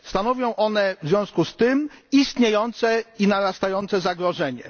Stanowią one w związku z tym istniejące i narastające zagrożenie.